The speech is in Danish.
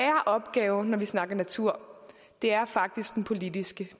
opgave når vi snakker om natur er faktisk den politiske